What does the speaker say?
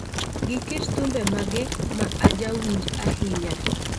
Gi kit thumbe mage ma ajawinj ahinya